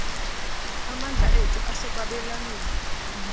amandla ethu asekwabelaneni